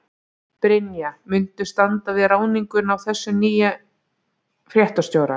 Brynja: Muntu standa við ráðninguna á þessum nýja fréttastjóra?